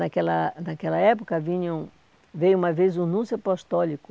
Naquela naquela época, vinham veio uma vez o núncio apostólico,